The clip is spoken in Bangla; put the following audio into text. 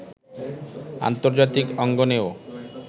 আন্তর্জাতিক অঙ্গনেও